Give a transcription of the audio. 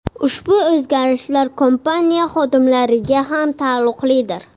Ushbu o‘zgarishlar kompaniya xodimlariga ham taalluqlidir.